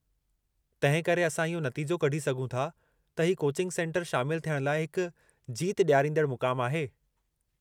तंहिं करे, असां इहो नतीजो कढी सघूं था त ही कोचिंग सेन्टर शामिलु थियण लाइ हिक जीत डि॒यारींदड़ु मुक़ामु आहे।